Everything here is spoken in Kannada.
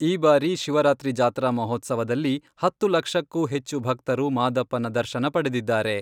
ಈ ಬಾರಿ ಶಿವರಾತ್ರಿ ಜಾತ್ರಾ ಮಹೋತ್ಸವದಲ್ಲಿ ಹತ್ತು ಲಕ್ಷಕ್ಕೂ ಹೆಚ್ಚು ಭಕ್ತರು ಮಾದಪ್ಪನ ದರ್ಶನ ಪಡೆದಿದ್ದಾರೆ.